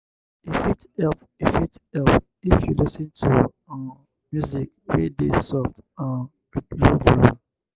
e fit help e fit help if you lis ten to um music wey dey soft um with low volume